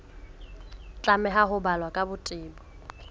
tlameha ho balwa ka botebo